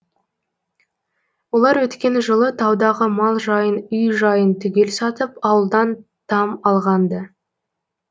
олар өткен жылы таудағы мал жайын үй жайын түгел сатып ауылдан там алған ды